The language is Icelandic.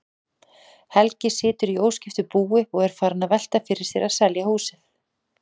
Helgi situr í óskiptu búi og er farinn að velta fyrir sér að selja húsið.